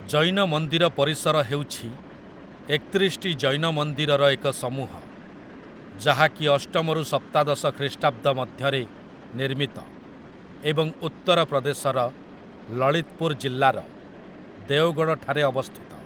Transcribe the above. ଜୈନ ମନ୍ଦିର ପରିସର ହେଉଛି ଏକତିରିଶଟି ଜୈନ ମନ୍ଦିରର ଏକ ସମୂହ, ଯାହାକି ଅଷ୍ଟମ ରୁ ସପ୍ତାଦଶ ଖ୍ରୀଷ୍ଟାବ୍ଦ ମଧ୍ୟରେ ନିର୍ମିତ, ଏବଂ ଉତ୍ତର ପ୍ରଦେଶର ଲଳିତପୁର ଜିଲ୍ଲାର ଦେଓଗଡ଼ ଠାରେ ଅବସ୍ଥିତ ।